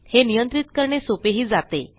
हे नियंत्रित करणे सोपेही जाते